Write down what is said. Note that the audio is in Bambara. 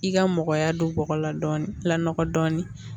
I ka mɔgɔya don bɔgɔ la dɔɔni la dɔɔni